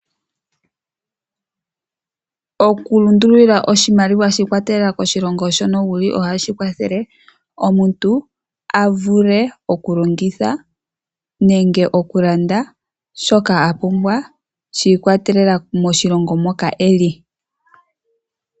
Oku lundulila oshimaliwa shiikwatelela koshilongo shono wuli ohashi kwathele omuntu, a vule oku longitha nenge oku landa shoka a pumbwa shiikwatelela moshilongo moka eli.